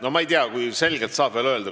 No ma ei tea, kui selgelt saab veel öelda.